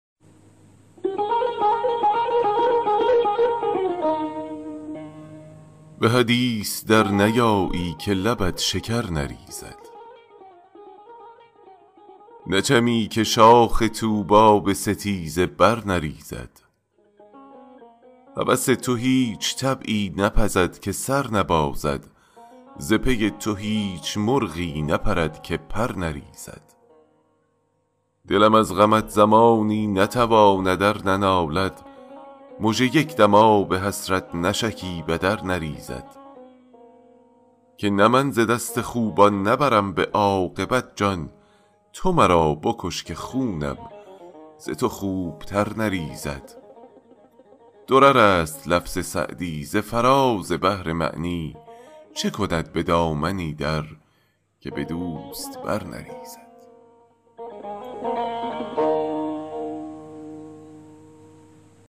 به حدیث در نیایی که لبت شکر نریزد نچمی که شاخ طوبی به ستیزه بر نریزد هوس تو هیچ طبعی نپزد که سر نبازد ز پی تو هیچ مرغی نپرد که پر نریزد دلم از غمت زمانی نتواند ار ننالد مژه یک دم آب حسرت نشکیبد ار نریزد که نه من ز دست خوبان نبرم به عاقبت جان تو مرا بکش که خونم ز تو خوبتر نریزد درر است لفظ سعدی ز فراز بحر معنی چه کند به دامنی در که به دوست بر نریزد